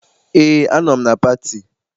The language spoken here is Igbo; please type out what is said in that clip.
Eé, anọ m na pati.